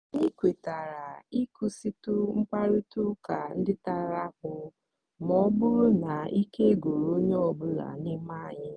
anyị kwetara ịkwụsịtụ mkparịta ụka ndị tara akpụ ma ọ bụrụ na ike gwụrụ onye ọ bụla n'ime anyị.